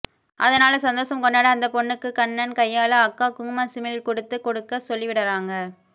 அதனால சந்தோசம் கொண்டாட அந்த பொண்ணுக்கு கண்ணன் கையால அக்கா குங்கும சிமிழ் குடுத்து குடுக்க சொல்லிவிடறாங்க